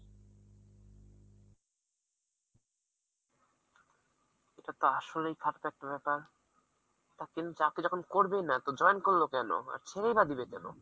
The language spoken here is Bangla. এটা তো আসলেই ফাটকা একটা ব্যাপার, তিনি চাকরি যখন করবেই না তো join করলো কেন? ছেড়ে না দিবে কেন?